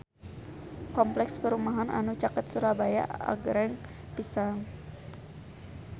Kompleks perumahan anu caket Surabaya agreng pisan